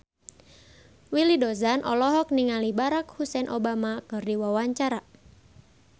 Willy Dozan olohok ningali Barack Hussein Obama keur diwawancara